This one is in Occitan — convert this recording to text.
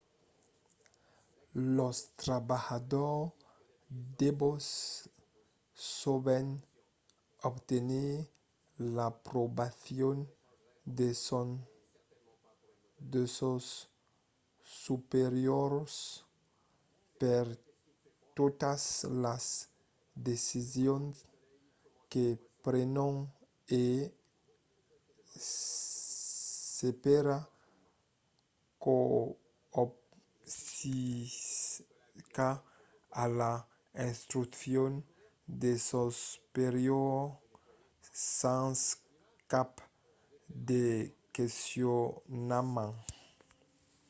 los trabalhadors devon sovent obtenir l’aprobacion de sos superiors per totas las decisions que prenon e s’espèra qu’obesiscan a las instruccions de sos superiors sens cap de questionament